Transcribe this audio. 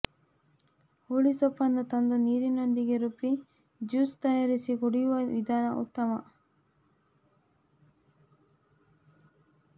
ಹುಳಿಸೊಪ್ಪನ್ನು ತಂದು ನೀರಿನೊಂದಿಗೆ ರುಬ್ಬಿ ಜ್ಯೂಸ್ ತಯಾರಿಸಿ ಕುಡಿಯುವ ವಿಧಾನ ಉತ್ತಮ